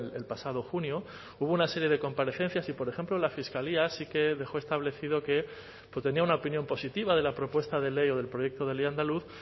el pasado junio hubo una serie de comparecencias y por ejemplo la fiscalía sí que dejó establecido que tenía una opinión positiva de la propuesta de ley o del proyecto de ley andaluz